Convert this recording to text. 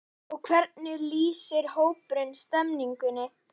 Og hvernig lýsir hópurinn stemningunni?